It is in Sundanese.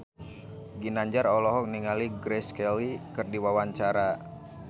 Ginanjar olohok ningali Grace Kelly keur diwawancara